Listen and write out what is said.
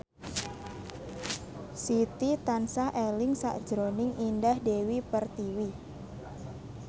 Siti tansah eling sakjroning Indah Dewi Pertiwi